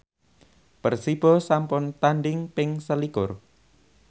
Persibo sampun tandhing ping selikur